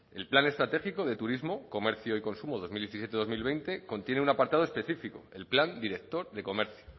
el plan estratégico de turismo comercio y consumo dos mil diecisiete dos mil veinte contiene un apartado específico el plan director de comercio